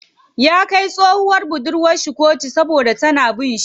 Ya kai tsohuwar budurwar shi koto saboda tana bin shi.